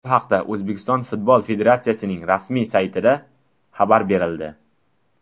Bu haqda O‘zbekiston Futbol Federatsiyasining rasmiy saytida xabar berildi .